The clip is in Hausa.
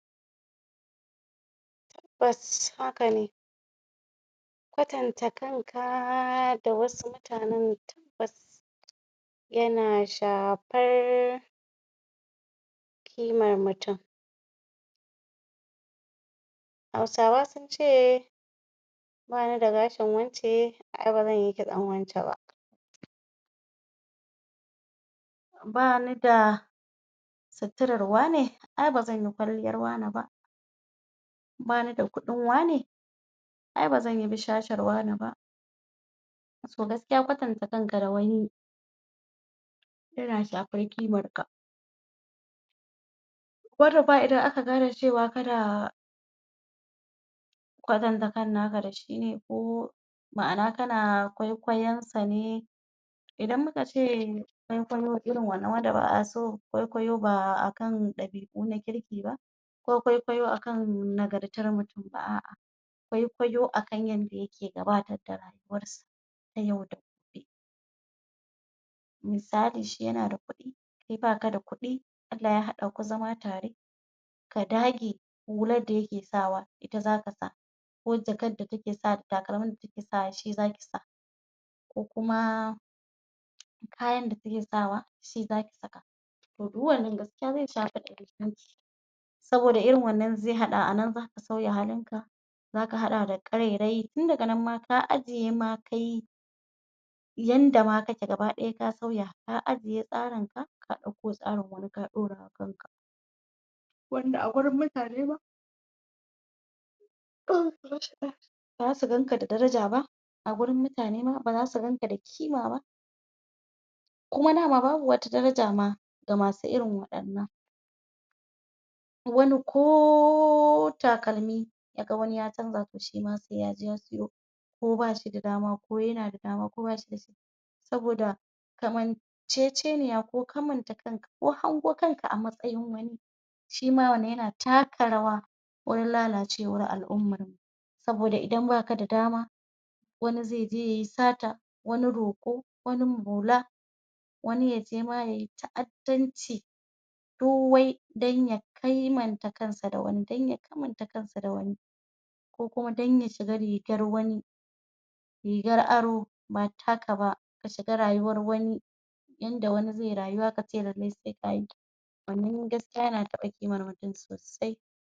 tabbas hakane kwatanta kanka da wasu mutanan tabbas yana shafar ƙimar mutum hausawa sunce banida gashin wance ae bazanyi kitsan wance ba banida sitirar wane ae bazanyi kwalliyar wane ba banida kudin wane ae bazanyi bushashar wane ba to gaskiya kwatanta kanka da wani yana shafar ƙimarka musamman ma idan aka gane cewa kana kwatanta kan naka dashine ma'ana kana ƙwaikwayansa ne idan mukace ƙwaikwayo irin wannan wanda ba'aso ƙwaikwayo ba akan ɗabi'u na kirki ba ko ƙwaiƙwayo akan nagartar mutum ba a'a ƙwaiƙwayo akan yanda yake gabatar da rayuwarsa na yau da gobe misali shi yana da kuɗi kai baka da kuɗi Allah ya haɗaku zama tare ka dage hular da yake sawa ita zaka sa ko jakar da take sawa da takalmin da take sawa shi zakisa ko kuma ko kuma kayan da take sawa shi zakisaa guguwar nan gaskiya zai saboda irin wannan zai haɗa a nan zaka sauya halinka zaka haɗa da karairayi tun daga nan ma ka ajje ma kai yanda ma kake gaba ɗaya ka sauya ka ajje tsarinka ka ɗa ko tsarin wani ka ɗaurawa kanka wanda a gurin mutane ma baza su ganka da daraja ba a gurin mutane ma baza su ganka da kima ba kuma dama babu wata daraja ma ga masu irin waɗannan wani ko takalmi yaga wani ya canza to shima sai yaje ya siyo ko bashida dama ko yana da dama ko bashida shi saboda kamancece niya ko kamanta kanka ko hangu kanka a matsayin wani shima wannan yana taka rawa gurin lalacewar al'ummarmu saboda idan baka da dama wani zaije yayi sata wani roƙo wani maula wani yaje ma yayi ta'addanci duk wai dan ya kimanta kansa da wani dan ya kamanta kansa da wani ko kuma dan ya shiga rigar wani rigar aro ba taka ba ka shiga rayuwar wani yanda wani zaiyi rayuwa kace kai ma sai kayi